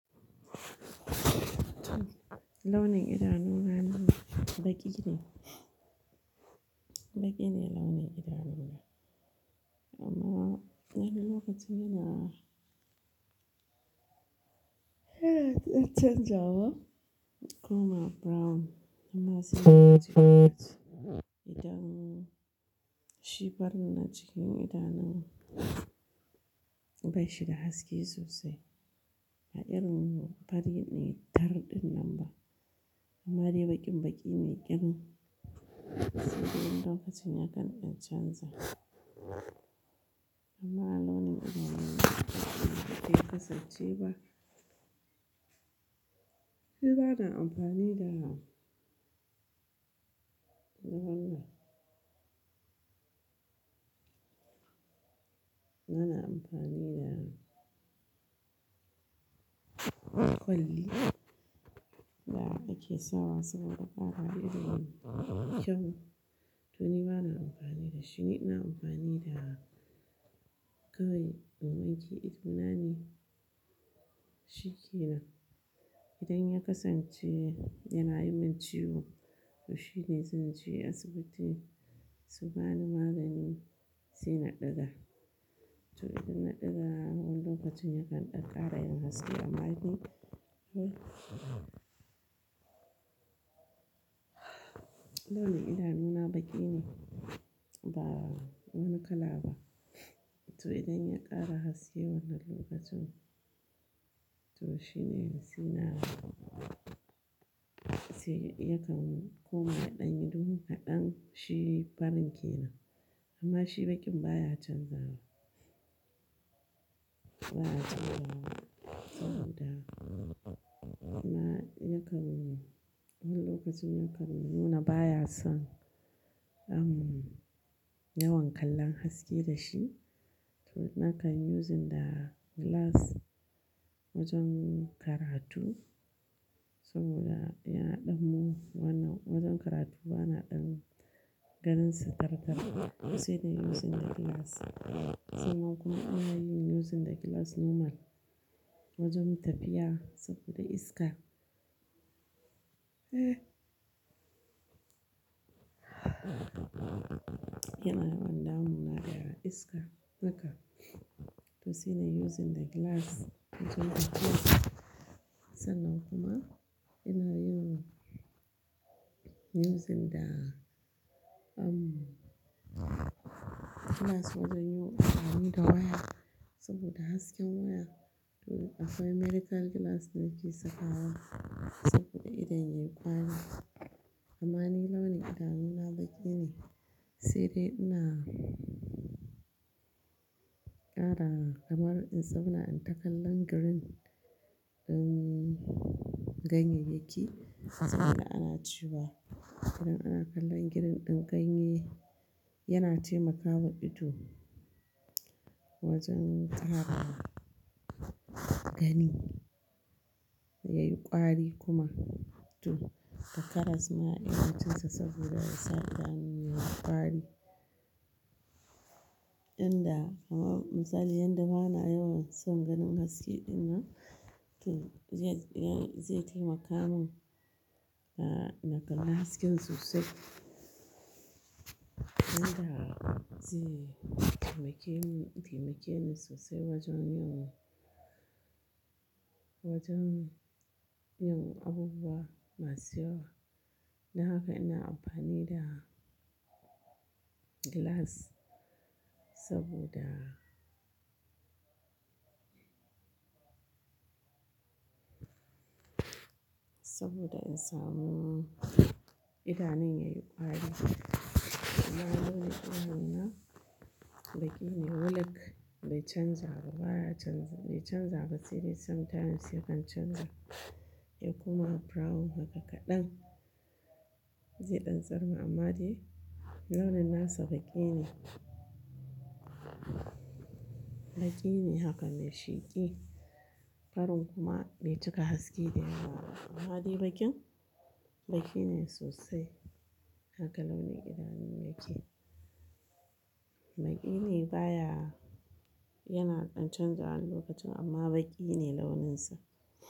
Launin idanuna baƙi ne. Baƙi ne launin idanuna, amma wani lokacin yana yana canjawa koma brown amma sai idan shi farin na cikin idanun, bai shi da haske sosai. Ba irin fari ne tar ɗin nan ba amma dai baƙin baƙi ne irin lokacin yakan canja. Amma launin idanuna bai kasance ba. Ni bana amfani da, nawa na? Bana amfani da kwalli. Da ake sawa saboda ƙarawa ido to ni bana amfani da shi ni. Ina amfani da gawayi domin shi idona ne shikenan. Idan ya kasance yana yi min ciwo to shi ne zan je asibiti su bani magani sai na ɗiga. To idan na ɗiga a wannan lokacin yakan ɗan ƙara yin haske amma dai launin idanuna baƙi ne ba wani kala ba. To idan ya ƙara haske wannan lokacin to shi ne sai na yakan koma ya ɗan yi duhu kaɗan shi farin ke nan. Amma shi baƙin baya canzawa, baya canzawa saboda amma yakan wani lokacin yakan nuna baya son yawan kallon haske da shi. To nakan using da glass wajen karatu saboda yana ɗanmu wannan wajen karatu bana ɗan ganin su tarkar sai da using da glass. Sannan kuma ina yin using da glass normal wajen tafiya saboda iska. Yana yawan damu na da iska haka to sai da using da glass wajen tafiya. Sannan kuma ina yin using da um glass wajen yin damu da waya saboda hasken waya to akwai medical glass nake sakawa saboda idan yayi ƙwari. Amma ni launin idanuna baƙi ne sai dai ina ƙara kamar in zauna in ta kallon girin ɗin ganyayyaki. Saboda ana cewa idan ana kallon girin ɗin ganye yana taimakawa ido wajen tara gani yayi ƙwari kuma to takaras ma iya cin sa saboda ya sa idanu yayi ƙwari. Inda misali yadda bana yawan son ganin haske ɗin nan to zai taimaka mun a na kalla hasken sosai. Inda zai taimake ni sosai wajen yin wajen yin abubuwa masu yawa. Don haka ina amfani da glass saboda, saboda in samu idanun yayi ƙwari. Amma launin idanuna baƙi ne wulik bai canzawa baya canza, bai canzawa sai dai sometimes yakan canja ya kuma brown haka kaɗan zai ɗan tsar. Amma dai launin nasa baƙi ne. Baƙi ne haka mai sheƙi. Farin kuma bai cika haske da yawa ba amma dai baƙin baƙi ne sosai. Haka launin idanun yake. Baƙi ne baya yana ɗan canzawa lokacin amma baƙi ne launinsa.